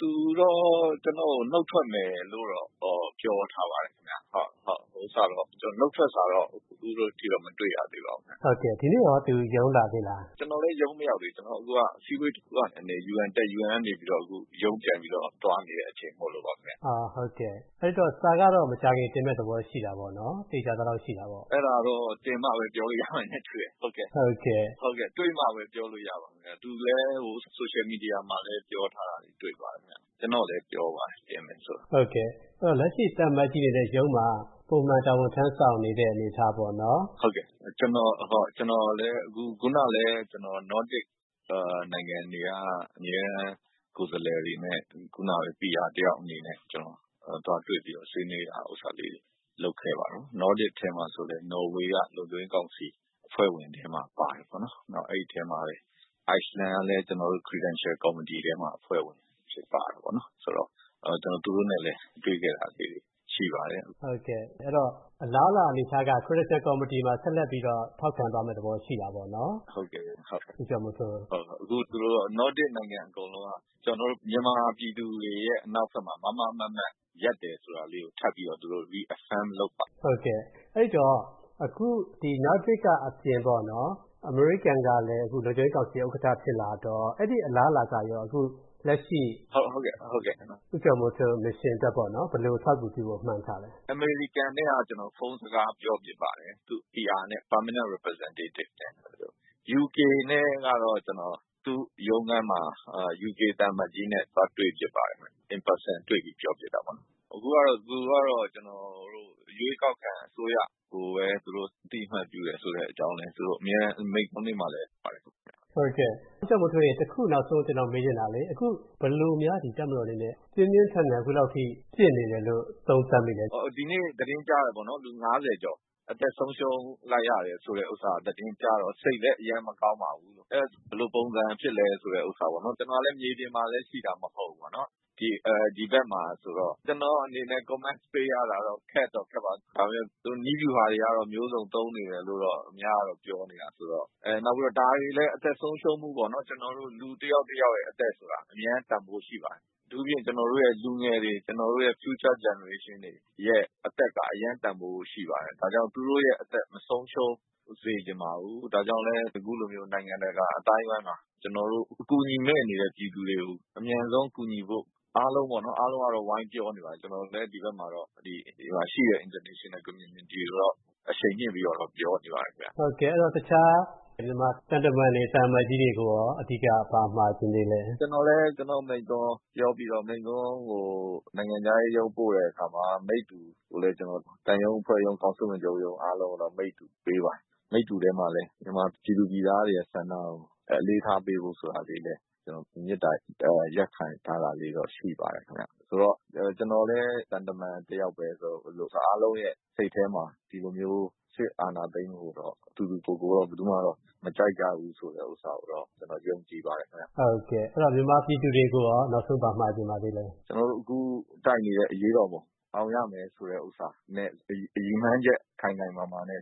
သူတော့ ကျနော့်ကို နုတ်ထွက်မယ်လို့တော့ ပြောထားပါတယ်ခင်ဗျ။ ဟို နုတ်ထွက်စာတော့ အခုအထိတော့ မတွေ့ရသေးပါဘူး။ ဟုတ် ဒီနေ့ရော သူ ရုံးလာသေးလား ။ ကျနော်လည်း ရုံးမရောက်သေးဘူး အခု အစည်းအဝေးတခုကနေ UN တက်ပြီး ၊ အခု UN ကနေပြီးတော့ ရုံးပြန်သွားနေတဲ့အချိန် မို့လို့ပါခင်ဗျ။ ဟုတ်ကဲ့ အဲဒီတော့ စာကတော့ မကြာခင် တင်မယ့်သဘောရှိတာပေါ့နော်။ သေချာသလောက်ရှိတာပေါ့နော်။ အဲဒါကတော့ တင်မှပဲ ပြောလို့ရမယ်နဲ့ တူတယ်။ ဟုတ်ကဲ့။ တွေ့မှပဲ ပြောလို့ရပါမယ် သူလည်း Social media မှာလည်း ပြောထားတာတွေ့ပါတယ်ခင်ဗျ။ ကျနော့်ကိုလည်း ပြောပါတယ် တင်မယ်ဆိုတာ။ ဟုတ်ကဲ့ လက်ရှိ သံအမတ်ကြီးအနေနဲ့ ရုံးမှာ ပုံမှန်တာဝန်ထမ်းဆောင်နေတဲ့ အနေအထားပေါ့နော်။ ဟုတ်ကဲ့။ ခုနလည်း ကျနော် Nordic နိုင်ငံတွေက အမြဲတမ်းကိုယ်စားလှယ်တွေနဲ့ ကျနော် PR တယောက်အနေနဲ့ သွားတွေ့ပြီးတော့ဆွေးနွေးတာကို လုပ်ခဲ့ပါတယ်။ Nordicထဲမှာဆိုရင်လည်း နော်ဝေက လုံခြုံရေး ကောင်စီအဖွဲ့ဝင်ထဲမှာ ပါတယ်ပေါေ့နာ် ။ နောက်အဲဒီထဲမှာလည်း Iceland ကလည်း ကျနော်တို့ Credential Committee ထဲမှာ အဖွဲ့ဝင်အဖြစ်ပါတာပေါ့နော် ဆိုတော့ ကျနော်သူတို့နဲ့လည်း တွေ့ခဲ့တာလေးတွေ ရှိပါတယ်။ ဟုတ်ကဲ့ ဆိုတော့ အလားအလာ အနေအထားက Credential Committee မှာ ဆက်လက်ပြီးတော့ ထောက်ခံသွားမယ့်အနေအထားရှိတာပေါ့နော် ။ ဟုတ်ကဲ့။ အခုသူတို့ Nordic နိုင်ငံတွေ အကုန်လုံးက ကျနော်တို့ မြန်မာပြည်သူတွေရဲ့ အနောက်ဘက်မှာ မားမားမတ်မတ် ရပ်တယ်ဆိုတာကို ထပ်ပြီးတော့ reaffirm လုပ်ပါတယ်။ ဟုတ်ကဲ့ အဲဒီတော့ ဒီ Nordic အပြင်ပေါ့နော် အမေရိကန်ကလည်း လုံခြုံရေးကောင်စီ ဥက္ကဋ္ဌ ဖြစ်လာတော့ အဲဒီအလားအလာကရော အခုလက်ရှိ ဦးကျော်မိုးထွန်း mission အတွက် ဘယ်လိုအထောက်အကူပြုဖို့ မှန်းထားသလဲ။ အမေရိကန်နဲ့တော့ ကျနော် ဖုန်း စကားပြောဖြစ်ပါတယ်။ သူ့ PR နဲ့ ၊ UK နဲ့တော့ သူ့ရုံးခန်းမှာ UK သံအမတ်ကြီးနဲ့ တွေ့ဖြစ်ပါတယ်ခင်ဗျ။ In person တွေ့ပြီး ပြောဖြစ်တာပေါ့နော်။ အခုကတော့ သူကတော့ ကျနော်တို့ ရွေးကောက်ခံအစိုးရကိုပဲ အသိအမှတ်ပြုတယ်ဆိုတဲ့အကြောင်း အမြဲတမ်း မိန့်ခွန်းတွေမှာလည်း ပြောပါတယ်ခင်ဗျ။ ဦးကျော်မိုးထွန်းရေ တခု ကျနော်နောက်ဆုံးမေးချင်တာကလေ ဘယ်လိုများ တပ်မတော်အနေနဲ့ ပြင်းပြင်းထန်ထန် အခုလောက်အထိ ပစ်နေတယ်ဆိုတာ သုံးသပ်မိသလဲ။ ဒီနေ့ သတင်းကြားတယ်ပေါေ့နာ် လူ ၅၀ ကျော် အသက်ဆုံးရှုံးလိုက်ရတယ် ဆိုတဲ့သတင်းကြားတော့ စိတ်လည်းအရမ်းမကောင်းပါဘူး။ ဘယ်လိုပုံစံဖြစ်သလဲဥစ္စာပေါ့နော် ကျနော်လည်း မြေပြင်မှာလည်း ရှိတာမဟုတ်ဘူး ဒီဘက်မှာဆိုတော့ ကျနော့်အနေနဲ့ comment ပေးရတာ ခက်တော့ ခက်တာပေါ့နော် ။ ဒါပေမယ့် သူတို့ နည်းဗျူဟာတွေတော့ အမျိုးစုံသုံးနေတယ်လို့ သူများကတော့ ပြောနေတယ်ဆိုတော့ ။ ဒါတွေလည်း ကျနော်တို့ အသက်ဆုံးရှုံးမှုပေါ့နော် လူတယောက် တယောက်ရဲ့ အသက်ဆိုတာ အရမ်း တန်ဖိုးရှိပါတယ်။ အထူးသဖြင့် ကျနေ်ာတို့ရဲ့ လူငယ်တွေ ကျနော်တို့ရဲ့ Future generation တွေရဲ့ အသက်က အရမ်း တန်ဖိုးရှိပါတယ်။ ဒါကြောင့် သူတို့ အသက် မဆုံးရှုံးစေချင်ပါဘူး။ ဒါကြောင့်လည်း နိုင်ငံတကာ အသိုင်းအဝိုင်းမှာ ကျနော်တို့လည်းအခု အကူအညီမဲ့နေတဲ့ ပြည်သူတွေကို အမြန်ဆုံးကူညီဖို့ အားလုံးပေါ့နော် အားလုံးကတော့ ဝိုင်းပြောနေပါတယ်။ ကျနော်တို့လည်း ဒီဘက်မှာတော့ ရှိတဲ့ International Community ကို အရှိန်မြှင့်ပြီးတော့ ပြောနေပါတယ်။ တခြား သံတမန်တွေ ၊ သံအမတ်ကြီးတွေကိုရော အဓိက ဘာမှာချင်သေးသလဲ။ ကျနော်လည်း ကျနော့်မိန့်ခွန်းပြောပြီးတော့ မိန့်ခွန်းကို နိုင်ငံခြားရေးရုံး ပို့တဲ့အခါမှာ မိတ္တူကို သံရုံးအဖွဲ့ရုံး ကောင်စစ်ဝင်ရုံး အားလုံးကို မိတ္တူပေးပါတယ်။ မိတ္တူထဲမှာလည်း မြန်မာပြည်သူပြည်သားတွေရဲ့ ဆန္ဒကို အလေးထားပေးဖို့ ဆိုတာလေးလည်း မေတ္တာရပ်ခံ ထားတာလေးတော့ရှိပါတယ်ခင်ဗျ ဆိုတော့ ကျနော်လည်း သံတမန်တယောက်ပဲ ဆိုတော့ အားလုံးရဲ့ စိတ်ထဲမှာ ဒီလိုမျိုး စစ်အာဏာသိမ်းမှုကို သူသူ ကိုယ်ကိုယ်တော့ ဘယ်သူမှ မကြိုက်ကြဘူးဆိုတာကိုတော့ ကျနော်ယုံကြည်ပါတယ်ခင်ဗျ။ ဟုတ်ကဲ့ မြန်မာပြည်သူတွေကိုရော နောက်ဆုံးဘာမှာချင်ပါသလဲ “ ကျနော်တို့အခု တိုက်နေတဲ့ အရေးတော်ပုံ အောင်ရမယ်” ဆိုတဲ့ ရည်မှန်းချက် ခိုင်ခိုင်မာမာ နဲ့